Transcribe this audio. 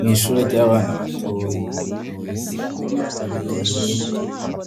Mw'ishure ry'abana batoyi umwe wese ariko intebe yiwe